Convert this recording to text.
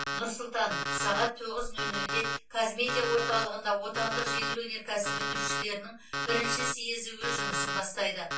нұр сұлтан сағат тоғыз нөл нөлде қазмедиа орталығында отандық жеңіл өнеркәсіп өндірушілерінің бірінші съезі өз жұмысын бастайды